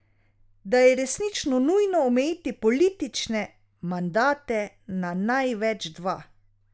Da je resnično nujno omejiti politične mandate na največ dva.